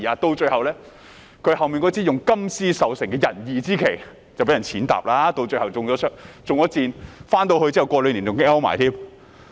到最後，他那支用金絲繡成的仁義之旗遭人踐踏，身體還中箭，回去兩年後更身亡。